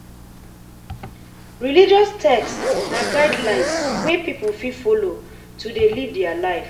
Religious text na guidelines wey pipo fit follow to dey live their lives